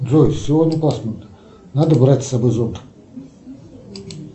джой сегодня пасмурно надо брать с собой зонт